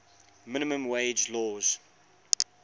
minimum wage laws